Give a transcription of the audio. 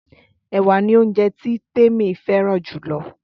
Ẹ̀wà ni óunjẹ tí Temi fẹ́ràn jù lọ